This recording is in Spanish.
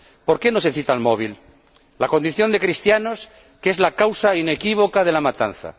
¿Por qué no se cita el móvil la condición de cristianos que es la causa inequívoca de la matanza?